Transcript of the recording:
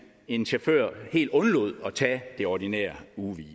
en chauffør helt undlod at tage det ordinære ugehvil